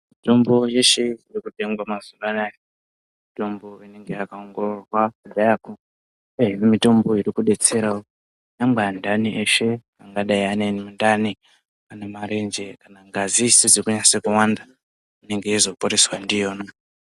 Mitombo yeshe irikutengwa mazuva anaya mitombo inenge yakaongororwa kudhayako. Kune mitombo irikubetserawo nyangwe antani eshe angadai ane mundani ane marenje kana ngazi isizi kunase kuwanda inenge yeizoporeswa ndiyona.